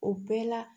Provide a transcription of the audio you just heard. O bɛɛ la